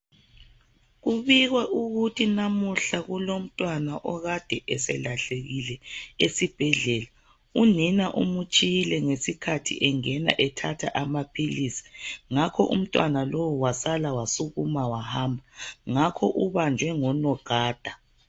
Kubikwa ukuthi namuhla kulomntwana okade eselahlekile esibhedlela. Unina umtshiyile ngesikhathi engana ethatha amaphilisi. Ngakho umntwana lo wasa wasukuma wahamba. Ngakho ubanjwe ngo nogada.